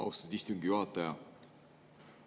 Austatud istungi juhataja!